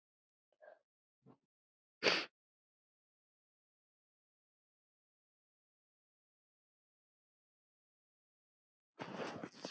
Hann var svo góður.